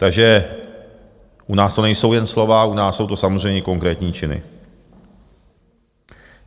Takže u nás to nejsou jen slova, u nás jsou to samozřejmě konkrétní činy.